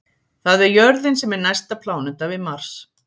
það er jörðin sem er næsta pláneta við mars